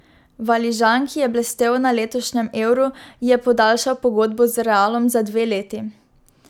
Valižan, ki je blestel na letošnjem Euru, je podaljšal pogodbo z Realom za dve leti.